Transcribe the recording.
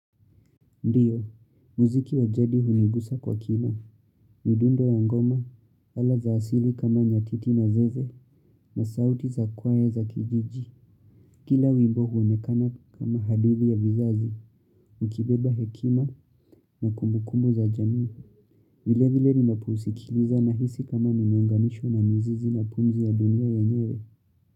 Ndiyo, muziki wa jadi hunigusa kwa kina, midundo ya ngoma, ala za asili kama nyatiti na zeze na sauti za kwae za kijiji. Kila wimbo huonekana kama hadithi ya vizazi, ukibeba hekima na kumukumu za jamii. Vile vile ninaopusikiliza nahisi kama nimeunganishwa na mizizi na pumzi ya dunia yenyewe.